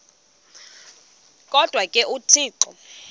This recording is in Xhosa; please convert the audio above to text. kodwa ke uthixo